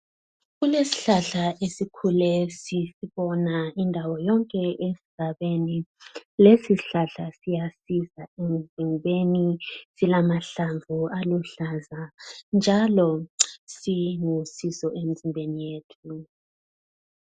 Kulesihlahla esikhule sisibonga indawo yonke esigabeni lesi sihlahla siyasiza emzimbeni silamahlamvu aluhlaza njalo silusizo emzimbeni yethu.